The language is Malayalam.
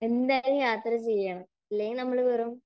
എന്തായാലും യാത്ര ചെയ്യണം. ഇല്ലെങ്കിൽ നമ്മൾ വെറും